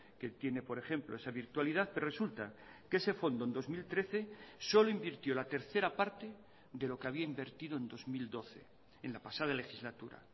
que tiene por ejemplo esa virtualidad pero resulta que ese fondo en dos mil trece solo invirtió la tercera parte de lo que había invertido en dos mil doce en la pasada legislatura